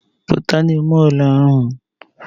Puta n'ime ụlọ